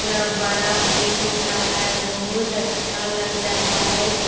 पूरा बड़ा फील्ड सा है बहुत अच्छा लग रहा है गे --